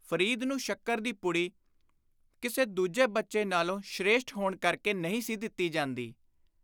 ਫ਼ਰੀਦ ਨੂੰ ਸ਼ੱਕਰ ਦੀ ਪੁੜੀ ਕਿਸੇ ਦੂਜੇ ਬੱਚੇ ਨਾਲੋਂ ‘ਸ੍ਰੇਸ਼ਟ’ ਹੋਣ ਕਰਕੇ ਨਹੀਂ ਸੀ ਦਿੱਤੀ ਜਾਂਦੀ।